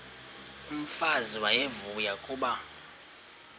umfazi uyavuya kuba